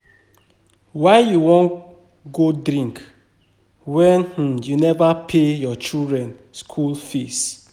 Why you wan go drink wen you neva pay your children school fees.